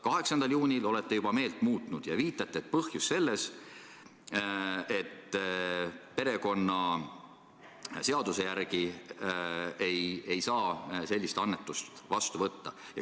8. juunil olete juba meelt muutnud ja viitate põhjusele, et perekonnaseaduse järgi ei saa sellist annetust vastu võtta.